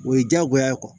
O ye diyagoya ye